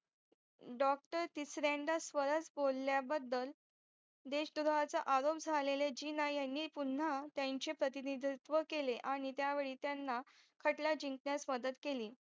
DOCTOR तिसऱ्यांदा सरस बोल्या बदल देश द्रोहाचा आरोप झालेले जीना यांनी पुन्हा त्यांचे परतिनिधित्वा केले आणि त्यावेळी त्यांना खटला जिंकण्यास मदत केली